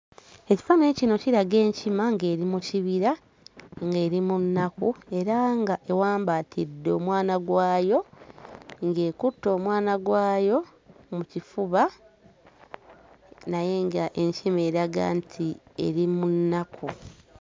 Ekifaananyi kino kiraga enkima ng'eri mu kibira, ng'eri mu nnaku era ng'ewambaatidde omwana gwayo, ng'ekutte omwana gwayo mu kifuba naye ng'ekima eraga nti eri mu nnaku.